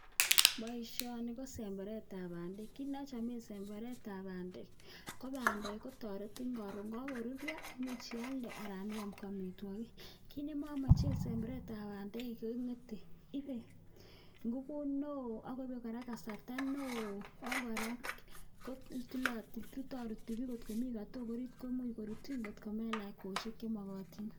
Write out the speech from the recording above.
Boisioni ko semberetab bandek, kiy nochame semberetab bandek ko bandek kotoretin karon kokaruryo, komuch ialde anan iam ko amitwokik, kiit nemamache semberetab bandek kengete. Ipei ngupuut neo ako ipei kora kasarta neo ako kora korutaruti biik kot komi katok ariit komuch korutin komelach kweyoisiek chemakatin.